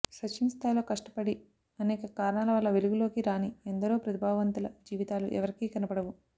సచిన్ స్థాయిలో కష్టపడి అనేక కారణాల వల్ల వెలుగులోకి రాని ఎందరో ప్రతిభావంతుల జీవితాలు ఎవరికీ కనపడవు